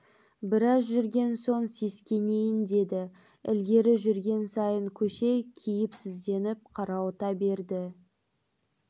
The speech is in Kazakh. біраз жүрген соң сескенейін деді ілгері жүрген сайын көше кейіпсізденіп қарауыта берді